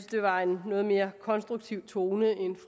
der var en noget mere konstruktiv tone end